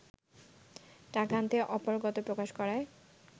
টাকা আনতে অপারগতা প্রকাশ করায়